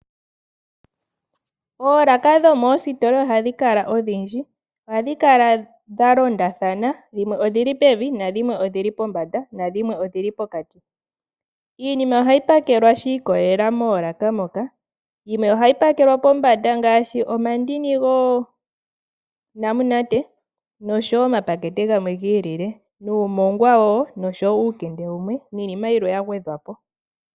Oolaka dhomoositola ohadhi kala odhindji . Ohadhi kala dha londathana, dhimwe odhili pevi, nadhimwe odhili pombanda nadhimwe odhili pokati. Iinima ohayi pakelwa shiikolela moolaka moka. Yimwe ohayi pakelwa pombanda ngaashi omandini goonamunate noshowoo omapakete gamwe giille nomoongwa wo noshowoo uukende wumwe, niinima yilwe yagwedhwapo.